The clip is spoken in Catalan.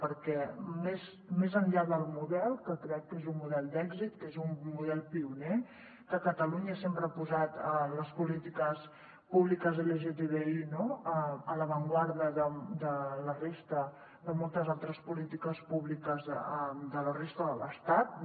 perquè més enllà del model que crec que és un model d’èxit que és un model pioner que catalunya sempre ha posat les polítiques públiques lgtbi a l’avantguarda de moltes altres polítiques públiques de la resta de l’estat no